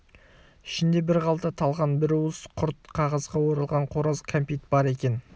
ішінде бір қалта талқан бір уыс құрт қағазға оралған қораз кәмпит бар екен